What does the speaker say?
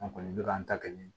An kɔni bɛ k'an ta kɛ